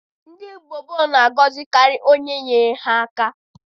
Ndị mgbe gboo na-agọzikarị onye nyere ha aka.